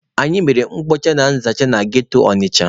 Anyị mere mkpocha na nzacha na ghetto Ọnịcha.